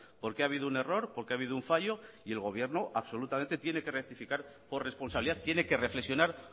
porque ha habido un error porque ha habido un fallo y el gobierno absolutamente tiene que rectificar por responsabilidad tiene que reflexionar